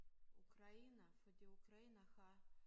Ukraine fordi Ukraine har